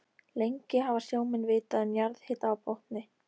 Lengi hafa sjómenn vitað um jarðhita á botni